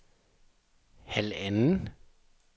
halvanden